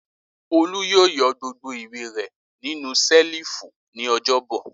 Olú yóò yọ gbogbo ìwé rẹ̀ nínú ṣẹ́lífù ní ọjọ́bọ̀.